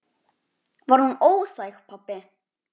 Var hún óþæg, pabbi?